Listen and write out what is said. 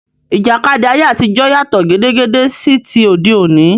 Ìjàkadì ayé àtijọ́ yàtọ̀ gédégbé sí ti òde òní.